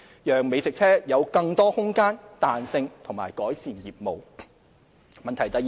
讓美食車有更多空間、彈性和改善業務。